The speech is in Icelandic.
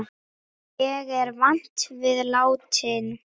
Ég er vant við látinn.